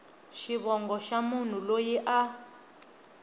xivongo xa munhu loyi a